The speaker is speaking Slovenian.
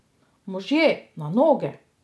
Možje, na noge!